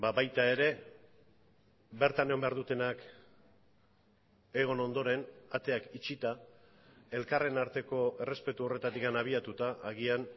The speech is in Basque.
baita ere bertan egon behar dutenak egon ondoren ateak itxita elkarren arteko errespetu horretatik abiatuta agian